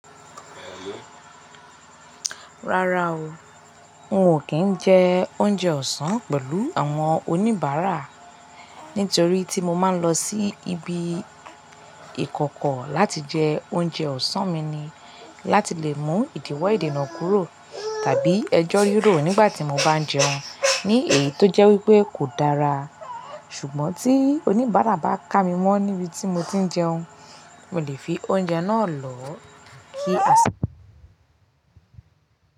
Rárá o, n ò kí n jẹ oúnjẹ ọ̀sán pẹ̀lú àwọn oníbàárà nítorí tí mo máa ń lọ sí ibi ìkọ̀kọ̀ láti jẹ oúnjẹ ọ̀sán mi ni láti lè mú ìdíwọ́ ìdènà kúrò tàbí ẹjọ́ yúrò nígbà tí mo bá ń jẹun, ní èyí tó jẹ́ wípé kò dára. Ṣùgbọ́n tí oníbàárà bá ká mi mọ́ níbi tí mo ti ń jẹun, mo lè fi oúnjẹ náà lọ kí a sì.